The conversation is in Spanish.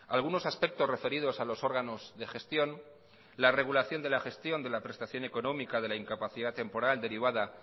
algunos aspectos referidos a los órganos de gestión la regulación de la gestión de la prestación económica de la incapacidad temporal derivada